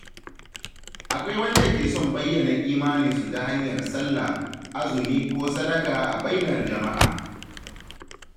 Akwai wanda ke son bayyana imaninsu ta hanyar sallah, azumi ko sadaka a bainar jama’a.